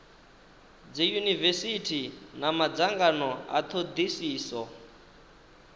dziunivesithi na madzangano a thodisiso